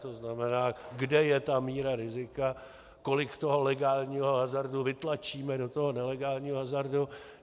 To znamená, kde je ta míra rizika, kolik toho legálního hazardu vytlačíme do toho nelegálního hazardu.